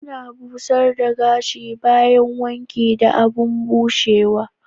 Ana busher the gashi bayan wanki da abun bushewa.